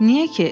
Niyə ki?